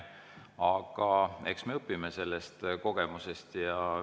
Aga eks me õpime sellest kogemusest.